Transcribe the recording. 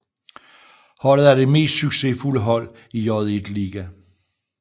Holdet er det mest succesfulde hold i J1 League